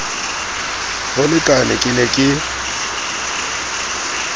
ho lekane ke ne ke